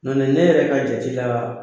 Nɔn tɛ ne yɛrɛ ka jate la